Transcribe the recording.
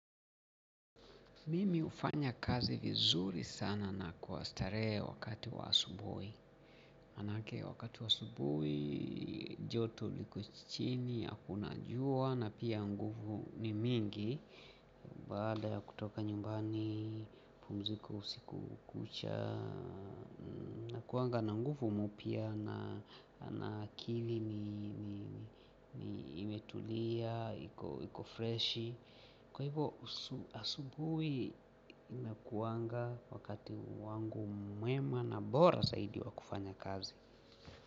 Mimi ufanya kazi vizuri sana na kuastare wakati wa asubui. Manake wakati wa asubui, joto liko chini, akuna jua, na pia nguvu ni mingi. Baada ya kutoka nyumbani, pumzika usiku kucha, nakuanga na nguvu mupya na akili ni imetulia, iko freshi. Kwa hivo asubui inakuanga wakati wangu mwema na bora zaidi wa kufanya kazi.